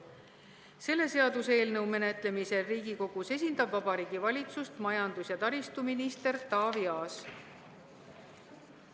Selle seaduseelnõu menetlemisel Riigikogus esindab Vabariigi Valitsust majandus- ja taristuminister Taavi Aas.